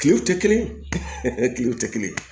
Kilew tɛ kelen ye kilew tɛ kelen ye